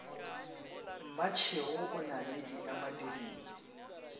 mmatšhego o na le diemadirile